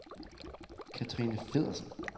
Cathrine Feddersen